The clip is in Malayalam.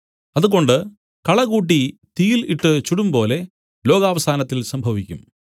അതുകൊണ്ട് കള കൂട്ടി തീയിൽ ഇട്ട് ചുടുംപോലെ ലോകാവസാനത്തിൽ സംഭവിക്കും